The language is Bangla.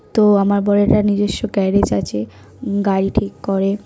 তো আমার বরেররা নিজস্ব গ্যারেজ আছে উম গাড়ি ঠিক করে।